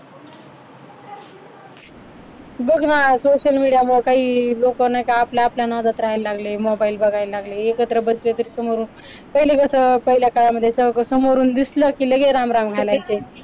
बघ ना social media मुळ लोक आपापल्या नादात राहायला लागले. mobile बघायला लागले. एकत्र बसले समोरून पहिलं कसं पहिल्या काळामध्ये सगळ समोरून दिसलं की लगेच राम राम घालायचे.